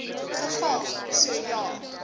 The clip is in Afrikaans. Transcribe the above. geval so ja